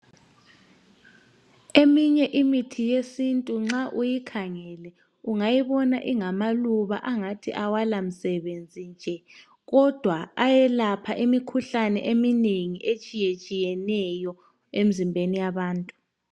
Eminye imithi yesintu nxa uyikhangele ungayibona ingamaluba angathi awalamsebenzi nje kodwa ayelapha imikhuhlane eminengi etshiyetshiyeneyo emzimbeni yabantu.